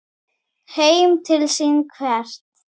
Heim til sín hvert?